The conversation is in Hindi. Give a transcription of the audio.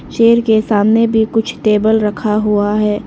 चेयर के सामने भी कुछ टेबल रखा हुआ है।